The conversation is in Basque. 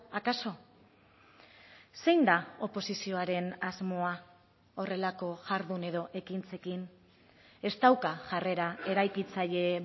akaso zein da oposizioaren asmoa horrelako jardun edo ekintzekin ez dauka jarrera eraikitzaile